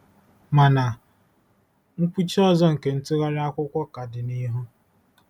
Mana nkwụchi ọzọ nke ntụgharị akwụkwọ ka dị n'ihu.